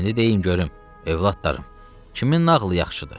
İndi deyin görüm, övladlarım, kimin nağılı yaxşıdır?